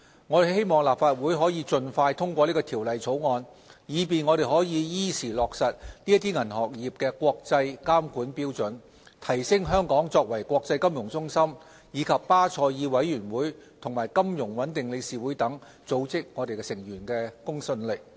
我希望立法會可以盡快通過《條例草案》，以便我們可以依時落實這些銀行業國際監管標準，提升香港作為國際金融中心，以及巴塞爾委員會和金融穩定理事會等組織成員的公信力。